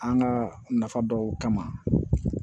An ka nafa dɔw kama